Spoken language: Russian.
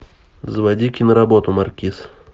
заводи киноработу маркиз